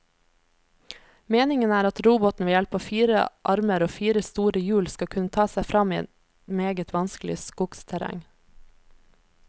Meningen er at roboten ved hjelp av fire armer og fire store hjul skal kunne ta seg frem i meget vanskelig skogsterreng.